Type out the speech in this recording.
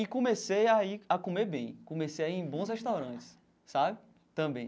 E comecei a ir a comer bem, comecei a ir em bons restaurantes sabe também.